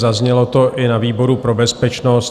Zaznělo to i na výboru pro bezpečnost.